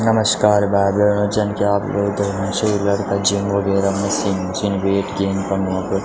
नमशकार भाई भैणो जन की आप लोग देखणा छ यि लड़का जिम वगैरा मशीन छिन वेट गेन कनू वख।